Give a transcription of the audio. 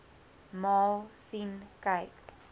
maal sien kyk